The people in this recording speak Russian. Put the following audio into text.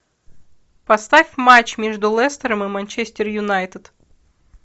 поставь матч между лестером и манчестер юнайтед